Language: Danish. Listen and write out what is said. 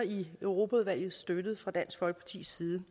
i europaudvalget støttede fra dansk folkepartis side